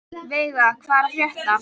Veiga, hvað er að frétta?